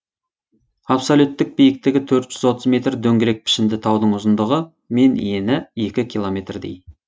абсолюттік биіктігі төрт жүз отыз метр метр дөңгелек пішінді таудың ұзындығы мен ені екі километрдей